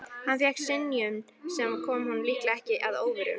Hann fékk synjun, sem kom honum líklega ekki að óvörum.